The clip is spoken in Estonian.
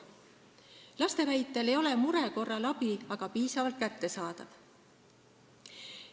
Laste väitel ei ole mure korral abi aga piisavalt kättesaadav.